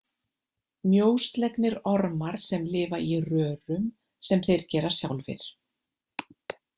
Mjóslegnir ormar sem lifa í rörum sem þeir gera sjálfir.